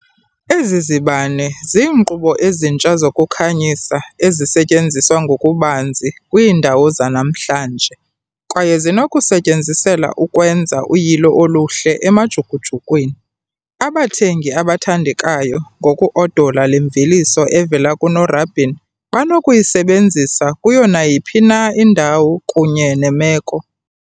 Ezi zibane ziinkqubo ezintsha zokukhanyisa ezisetyenziswa ngokubanzi kwiindawo zanamhlanje, kwaye zinokusetyenziselwa ukwenza uyilo oluhle emajukujukwini. Abathengi abathandekayo, ngoku-odola le mveliso evela kunorabin, banokuyisebenzisa kuyo nayiphi na indawo kunye nemeko.